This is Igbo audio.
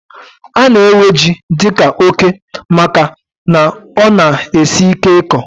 Ana ewe jị dika óké màkà na ọ na- esị ike ịkọ